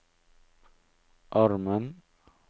armen